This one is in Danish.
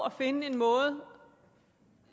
at finde en måde